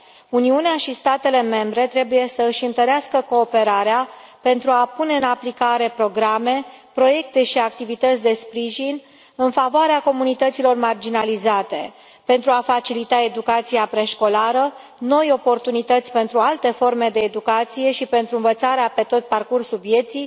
Uniunea și statele membre trebuie să își întărească cooperarea pentru a pune în aplicare programe, proiecte și activități de sprijin în favoarea comunităților marginalizate pentru a facilita educația preșcolară, noi oportunități pentru alte forme de educație și pentru învățarea pe tot parcursul vieții,